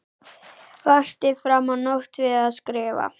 Vakti fram á nótt við að skrifa.